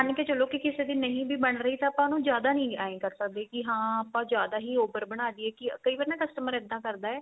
ਮੰਨ ਕੇ ਚੱਲੋ ਕੀ ਕਿਸੇ ਦੇ ਨਹੀਂ ਵੀ ਬਣ ਰਿਹਾ ਤਾਂ ਆਪਾਂ ਉਹਨੂੰ ਜਿਆਦਾ ਨਹੀਂ ਇਹ ਕ਼ਰ ਸਕਦੇ ਕੀ ਹਾਂ ਆਪਾਂ ਜਿਆਦਾ ਹੀ over ਬਣਾ ਦੀਏ ਕੀ ਕਈ ਵਾਰ ਨਾ customer ਇੱਦਾਂ ਕਰਦਾ